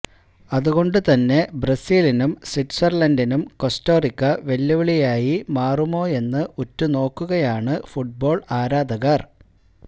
അതുകൊണ്ട് തന്നെ ബ്രസീലിനും സ്വിറ്റ്സര്ലന്ഡിനും കോസ്റ്ററിക്ക വെല്ലുവിളിയായി മാറുമോയെന്ന് ഉറ്റുനോക്കുകയാണ് ഫുട്ബോള് ആരാധകര്